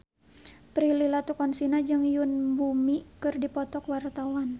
Prilly Latuconsina jeung Yoon Bomi keur dipoto ku wartawan